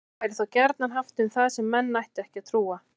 Hjátrú væri þá gjarnan haft um það sem menn ættu ekki að trúa.